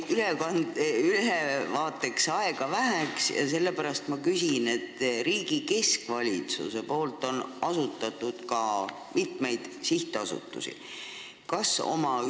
Teil jäi ettekandeks aega väheks ja sellepärast ma küsin riigi keskvalitsuse asutatud sihtasutuste kohta.